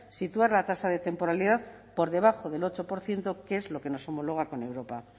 situar la tasa de temporalidad por debajo del ocho por ciento que es lo que nos homologa con europa